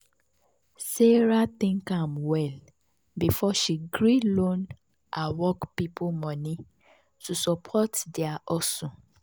sarah think am well before she gree loan her work people money to support their hustle.